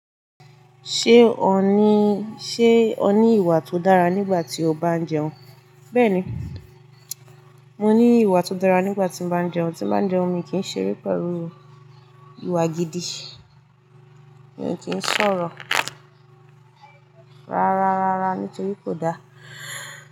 Ṣé o ní, ṣe o ní ìwà tó dára nígbà tí o bá ń jẹun? Bẹ́ẹ̀ni, mo ní ìwà tó dára nígbà tí mo bá ń jẹun. Tí bá ń jẹun mi kí ń ṣeré pẹ̀lú ìwà gidi. Mi ò kì í sọ̀rọ̀ rárárá nítorí kò dáa.